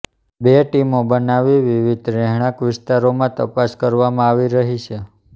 બે ટીમો બનાવી વિવિધ રહેણાંક વિસ્તારોમાં તપાસ કરવામાં આવી રહી છે